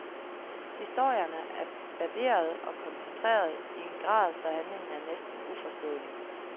Historierne er barberede og koncentrerede i en grad, så handlingen er næsten uforståelig.